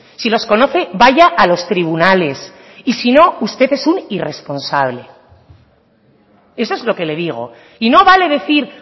si los conoce vaya a los tribunales y si no usted es un irresponsable eso es lo que le digo y no vale decir